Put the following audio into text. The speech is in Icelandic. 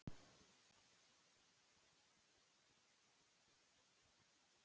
Íslendingaliðið hafnaði í níunda sæti af sextán liðum deildarinnar.